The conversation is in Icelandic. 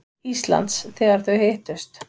Íslands, þegar þau hittust.